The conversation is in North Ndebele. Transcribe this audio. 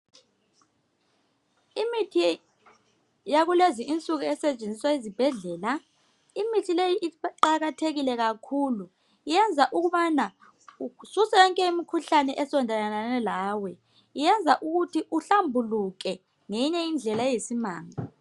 Imithi yakulezi nsuku esetshenziswa ezibhedlela iqakathekile kakhulu iyenza ukuba isuse yonke imikhuhlane esondalane lawe lokuthi uhlambuluke ngeyinye indlela eyisimanga